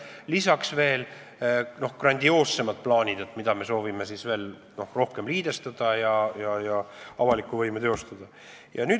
Lisaks on veel grandioossemad plaanid, mille järgi me soovime veel rohkem liidestades avalikku võimu teostada.